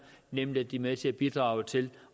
nemlig at de er med til at bidrage til